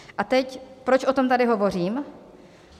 A teď, proč o tam tady hovořím?